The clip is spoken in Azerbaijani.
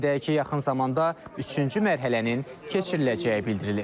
Qeyd edək ki, yaxın zamanda üçüncü mərhələnin keçiriləcəyi bildirilir.